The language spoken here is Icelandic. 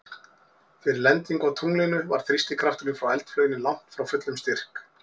Fyrir lendingu á tunglinu var þrýstikrafturinn frá eldflauginni langt frá fullum styrk.